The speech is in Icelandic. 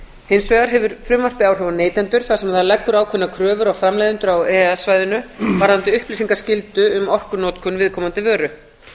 hins vegar hefur frumvarpið áhrif á neytendur þar sem það leggur ákveðna kröfur á framleiðendur á e e s svæðinu varðandi upplýsingaskyldu um orkunotkun viðkomandi vöru